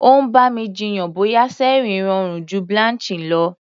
Ó ń bá mi jiyàn bóyá searing rọrùn ju blanching lọ.